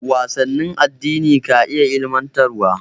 Wasannin addini ka iya ilimantarwa.